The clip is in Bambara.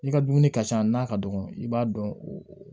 I ka dumuni ka ca n'a ka dɔgɔ i b'a dɔn